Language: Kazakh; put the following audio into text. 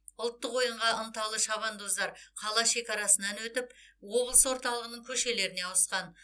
ұлттық ойынға ынталы шабандоздар қала шекарасынан өтіп облыс орталығының көшелеріне ауысқан